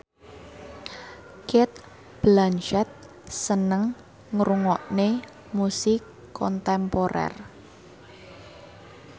Cate Blanchett seneng ngrungokne musik kontemporer